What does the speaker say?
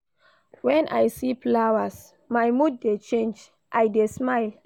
Wen I see flowers, my mood dey change, I dey smile.